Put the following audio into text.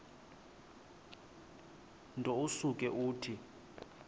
nto usuke uthi